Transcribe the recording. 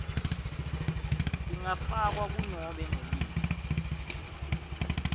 tingafakwa kunobe nguliphi